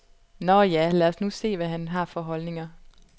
Nå ja, lad os nu se, hvad han har for holdninger.